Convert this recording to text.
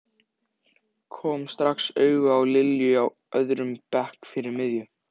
Kom strax auga á Lilju á öðrum bekk fyrir miðju.